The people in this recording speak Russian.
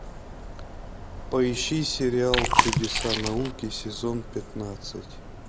поищи сериал чудеса науки сезон пятнадцать